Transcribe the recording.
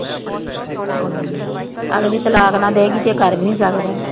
ਅਗਲੀ ਤਲਾਕ ਨਾ ਦੇਏਗੀ ਤੇ ਕਰ ਵੀ ਨੀ ਸਕਦਾ।